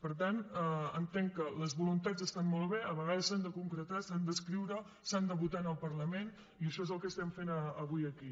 per tant entenc que les voluntats estan molt bé a vegades s’han de concretar s’han d’escriure s’han de votar en el parlament i això és el que estem fent avui aquí